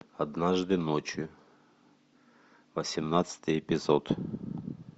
однажды ночью восемнадцатый эпизод